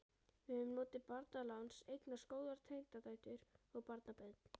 Við höfum notið barnaláns, eignast góðar tengdadætur og barnabörn.